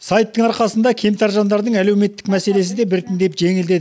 сайттың арқасында кемтар жандардың әлеуметтік мәселесі де біртіндеп жеңілдеді